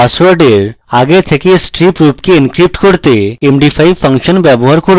আমি আমার পাসওয়ার্ডের আগে থেকে striped রূপকে encrypt করতে md5 ফাংশন ব্যবহার করব